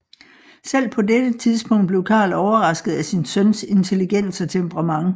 Selv på dette tidspunkt blev Karl overrasket af sin søns intelligens og temperament